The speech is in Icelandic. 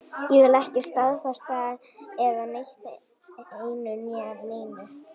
Ég vil ekki staðfesta eða neita einu né neinu.